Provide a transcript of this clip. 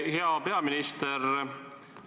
Hea peaminister!